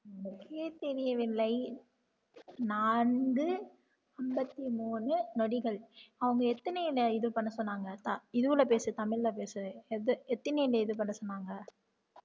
தெரியவில்லை நான்கு அம்பத்தி மூணு நொடிகள் அவங்க எத்தனயில இது பண்ண சொன்னாங்க இதுவுல பேசு தமிழ்ல பேசு எது எத்தனயில இது பண்ண சொன்னாங்க